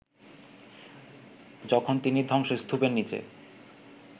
যখন তিনি ধ্বংসস্তূপের নিচে